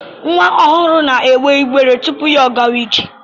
Nwa ọhụụ n'egbe igbe tụpụ ọ gaa ije.